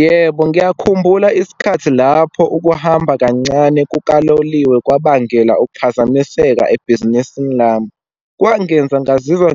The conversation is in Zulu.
Yebo, ngiyakhumbula isikhathi lapho ukuhamba kancane kukaloliwe kwabangela ukuphazamiseka ebhizinisini lami. Kwangenza ngazizwa